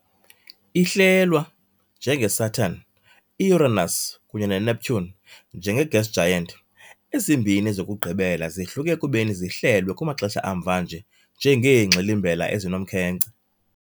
Ihlelwa, njengeSaturn, i-Uranus kunye neNeptune, njenge-gas giant, ezimbini zokugqibela zihluke ekubeni zihlelwe kumaxesha amva nje njengeengxilimbela ezinomkhenkce .